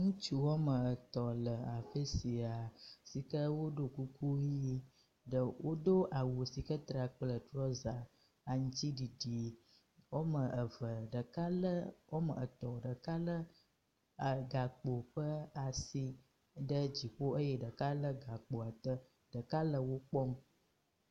Ŋutsu wɔme etɔ̃ le afi sia yi si ke woɖo kuku ʋi ɖe wodo awu si ke tra kple trɔza aŋtsiɖiɖi. Wɔme eve ɖeka le wɔme etɔ̃ ɖeka le e gakpo ƒe asi ɖe dziƒo eye ɖeka le gakpoa ɖe ɖeka le wo kpɔm.